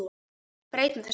Breytum þessu.